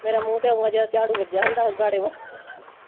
ਮੇਰਾ ਮੂੰਹ ਤੇ ਇਓ ਜਿਵੇ ਝਾੜੂ ਵੱਜਾ ਹੁੰਦਾ ਗਾੜੇ ਵਾਲਾ